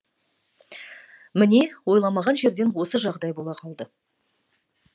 міне ойламаған жерден осы жағдай бола қалды